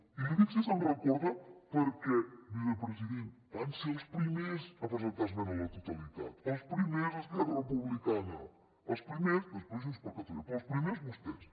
i li dic si se’n recorda perquè vicepresident van ser els primers a presentar esmena a la totalitat els primers esquerra republicana els primers després junts per catalunya però els primers vostès